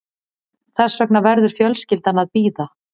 Þess vegna verður fjölskyldan að bíða